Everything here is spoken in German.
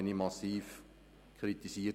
Dafür wurde ich massiv kritisiert.